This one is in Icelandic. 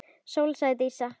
Sóley, sagði Dísa.